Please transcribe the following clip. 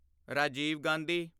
Rajiv Gandhi